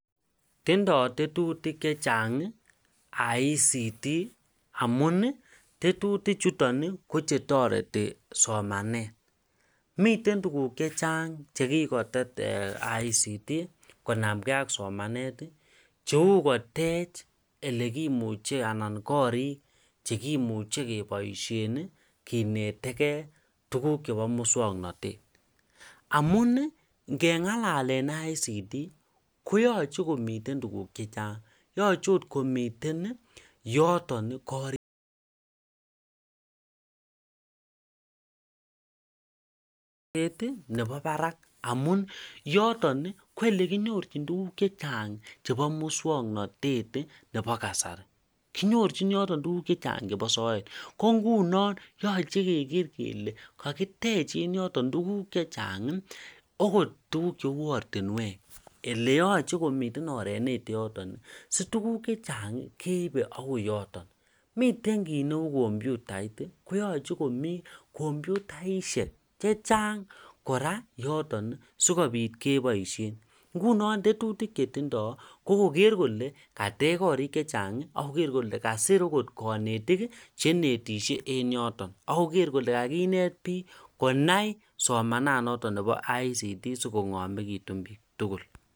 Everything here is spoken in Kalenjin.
Tindoo tetutik chechang ICT amun ii tetutichuto kochetoreti somanet, miten tuguk chechang chekikotet ICT konamngee ak somanet ii cheu kotech elekimuche anan korik chekimuche keboisien kineteke tuguk chebo muswoknotet, amun ii ngeng'alalen ICT koyoche oot komiten tuguk chechang yoche ot komiten yoton ii korik ne bo barak amun yoton ko elekinyorchin tuguk chechang chebo muswoknotet ii nebo kasari, kinyorchin yoton tuguk chechang chebo soet ko ngunon yoche keker kele kakitech en yoton tuguk chechang okot tuguk cheu ortinwek, eleyoche komiten oret newendi yoton ii si tuguk chechang keibe akoi yoton, miten kit neu kompyutait koyoche komii kompyutaisiek chechang kora yoton sikopit keboisien, ngunon tetutik chetindoo ko koker kole katech korik chechang ii akoker kole kasir akot konetik cheinetisie en yoton akoker kole kainet biik konai somananoton ne bo ICT sikong'omekitu biik tugul.